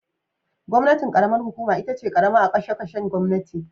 Gwamnatin karamar hukuma itace karama a kashe kashen gwamnati